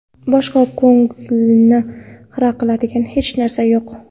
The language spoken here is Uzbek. Boshqa ko‘ngilni xira qiladigan hech narsa yo‘q.